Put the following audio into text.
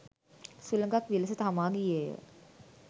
සුළඟක් විලස හමා ගියේය.